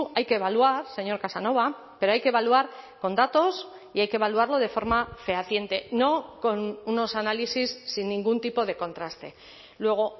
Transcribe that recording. hay que evaluar señor casanova pero hay que evaluar con datos y hay que evaluarlo de forma fehaciente no con unos análisis sin ningún tipo de contraste luego